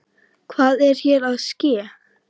Hvað er hér að ske!?